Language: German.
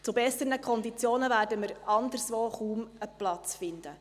Zu besseren Konditionen werden wir anderswo kaum einen Platz finden.